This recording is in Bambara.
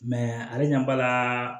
ale ɲɛ b'a la